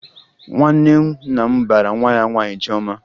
Nwanne nna m bara nwa ya nwaanyị Chiọma